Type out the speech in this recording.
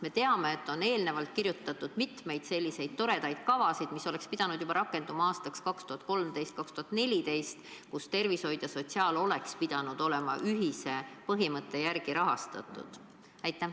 Me teame, et on kirjutatud mitmeid toredaid kavasid, mis oleksid pidanud rakenduma juba aastal 2013 või 2014 ning tervishoid ja sotsiaalvaldkond oleks pidanud olema ühise põhimõtte järgi rahastatud.